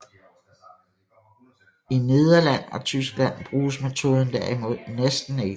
I Nederland og Tyskland bruges metoden derimod næsten ikke